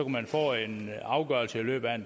man få en afgørelse i løbet af